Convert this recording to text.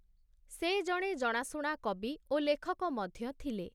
ସେ ଜଣେ ଜଣାଶୁଣା କବି ଓ ଲେଖକ ମଧ୍ୟ ଥିଲେ ।